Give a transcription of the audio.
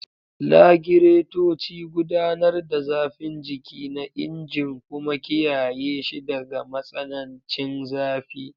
Lagiratoci gudanar da zafin jiki na injin kuma kiyaye shi daga matsanancin zafi.